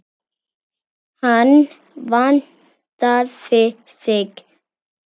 Hann vandaði sig.